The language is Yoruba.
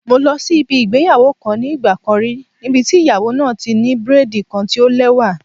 Mo lọ síbi ìgbéyàwó kan nígbà kan rí níbi tí ìyàwó náà ti ní braid kan tí o lẹ́wà.